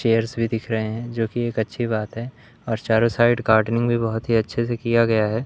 Chairs भी दिख रहे हैं जो की एक अच्छी बात है और चारों साइड गार्डनिंग भी बहोत ही अच्छे से किया गया है।